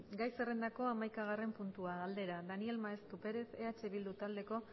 gai zerrendako hamaikagarren puntua galdera galdera daniel maeztu perez eh bildu taldeko